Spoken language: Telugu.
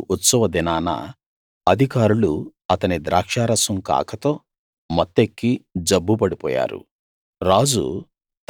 మన రాజు ఉత్సవ దినాన అధికారులు అతని ద్రాక్షారసం కాకతో మత్తెక్కి జబ్బుపడిపోయారు రాజు